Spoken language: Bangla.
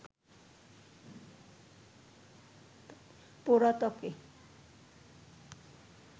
পোড়া ত্বকে